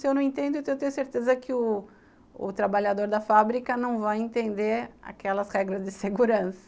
Se eu não entendo, eu tenho certeza que o o trabalhador da fábrica não vai entender aquelas regras de segurança.